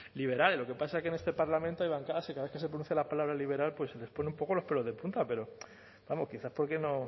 liberales lo que pasa que en este parlamento hay bancadas que cada vez que se pronuncia la palabra liberal pues se les pone un poco los pelos de punta pero vamos quizá porque no